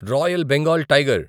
royal Bengal tiger